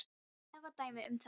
Ég ætla að nefna dæmi um þetta.